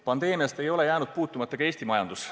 Pandeemiast ei ole jäänud puutumata ka Eesti majandus.